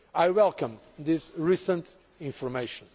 I welcome this recent information.